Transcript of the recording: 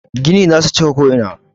Gini za su cika ko'ina.